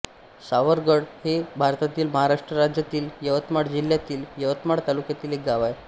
सावरगड हे भारतातील महाराष्ट्र राज्यातील यवतमाळ जिल्ह्यातील यवतमाळ तालुक्यातील एक गाव आहे